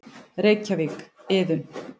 Reykjavík: Iðunn.